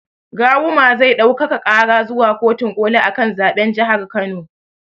Gawuma zai ɗaukaka ƙara zuwa kotin ƙoli akan zaɓen jahar kano